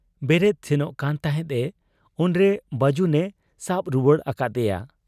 ᱵᱮᱨᱮᱫ ᱥᱮᱱᱚᱜ ᱠᱟᱱ ᱛᱟᱦᱮᱸᱫ ᱮ ᱾ ᱩᱱᱨᱮ ᱵᱟᱹᱡᱩᱱᱮ ᱥᱟᱵ ᱨᱩᱣᱟᱹᱲ ᱟᱠᱟᱫ ᱮᱭᱟ ᱾